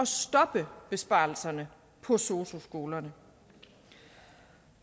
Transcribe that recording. stoppe besparelserne på sosu skolerne